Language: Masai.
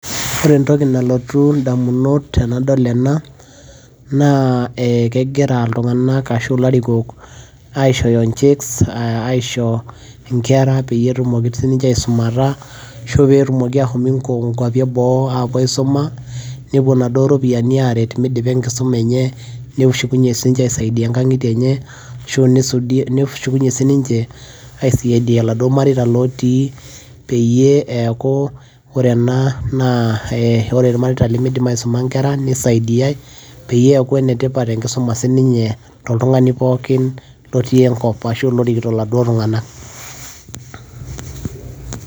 Ore entoki nalotu indamunot tenadol ena naa ekegira iltung'anak ashu ilarikok aishooyo cheques aisho inkera peyie etumoki toi sininche aisumata ashu pee etumoki ashomoita inkuapi eboo aapuo asiuma, nepuo inaduo ropiyiani aaret meidipa enkisuma enye neshukunyie sininche aisaidia inkang'itie enye aisaidiaim iladuoo mareita ootii pee eeku ore ena naa ore ilmareita lemiidim aisuma nkera nisaidiae peyie eeku enetipat enkisuma toltung'ani pookin otii enkop ashu orikito iladuoo tung'anak.